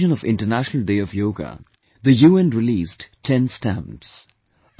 On the occasion of International Day of Yoga, the UN released ten stamps